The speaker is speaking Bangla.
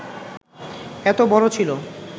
এত বড় ছিল